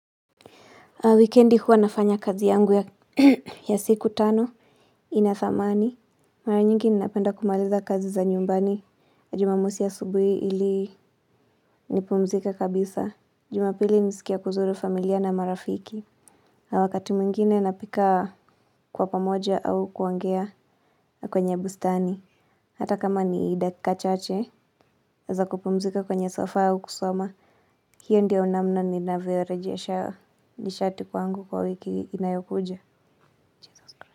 Weekendi huwa nafanya kazi yangu ya siku tano ina thamani. Mara nyingi ninapenda kumaliza kazi za nyumbani. Jumamosi asubui ili nipumzike kabisa. Jumapili nisikia kuzuru familia na marafiki. Na wakati mwingine napika kwa pamoja au kuangea kwenye bustani. Hata kama ni dakika chache za kupumzika kwenye sofa au kusoma. Hio ndio namna ninavyo rejesha nishati kwangu kwa wiki inayokuja.